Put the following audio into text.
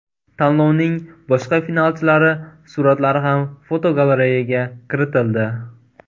Tanlovning boshqa finalchilari suratlari ham fotogalereyaga kiritildi.